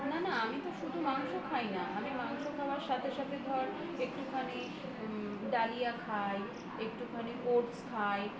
না না আমি তো শুধু মাংস খাই না মাংস খাওয়ার সাথে সাথে ধর একটুখানি ডালিয়া খাই একটুখানি oats খাই